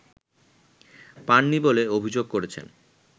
পাননি বলে অভিযোগ করেছেন